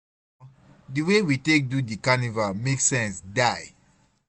Omo di wey we take do di carnival make sense die.